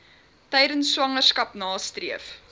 tydens swangerskap nastreef